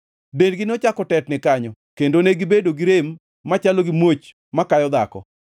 Dendgi nochako tetni kanyo kendo negibedo gi rem machalo gi muoch ma kayo dhako.